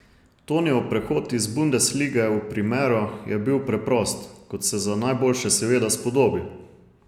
Tonijev prehod iz bundeslige v primero je bil preprost, kot se za najboljše seveda spodobi.